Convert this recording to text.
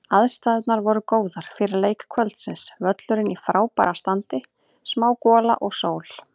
Aðstæðurnar voru góðar fyrir leik kvöldsins, völlurinn í frábæra standi, smá gola og sól.